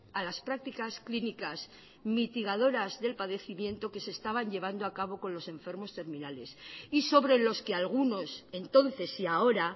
a las prácticas clínicas mitigadoras del padecimiento que se estaba llevando a cabo con los enfermos terminales y sobre los que algunos entonces y ahora